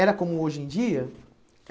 Era como hoje em dia?